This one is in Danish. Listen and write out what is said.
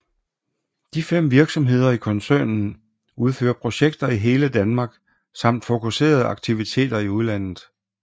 De fem virksomheder i koncernen udfører projekter i hele Danmark samt fokuserede aktiviteter i udlandet